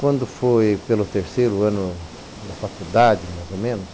Quando foi pelo terceiro ano da faculdade, mais ou menos,